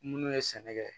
Minnu ye sɛnɛ kɛ